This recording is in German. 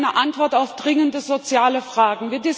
Es ist eine Antwort auf dringende soziale Fragen.